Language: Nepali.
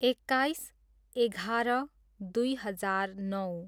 एक्काइस, एघार, दुई हजार नौ